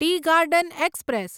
T garden express